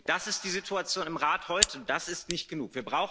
Das ist die Situation im Rat heute, und das ist nicht genug.